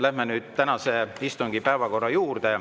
Läheme nüüd tänase istungi päevakorra juurde.